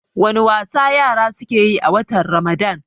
wani wasa yara suke yi a watan ramadan?